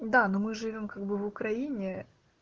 да но мы живём как бы в украине